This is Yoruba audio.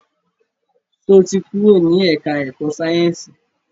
Sọ ti kúrò ní ẹ̀ká ẹ̀kọ́ Sáyẹ̀nsì?